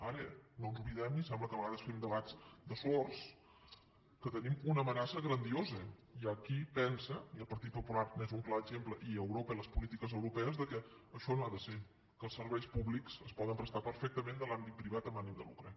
ara no ens oblidem i sembla que a vegades fem debats de sords que tenim una amenaça grandiosa hi ha qui pensa i el partit popular n’és un clar exemple i europa i les polítiques europees que això no ha de ser que els serveis públics es poden prestar perfectament de l’àmbit privat amb ànim de lucre